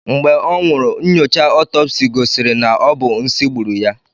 Mgbe ọ nwụrụ, nnyocha ọtọpsi gosiri na ọ bụ nsị gburu ya.